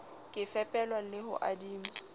ka fepelwa le ho adima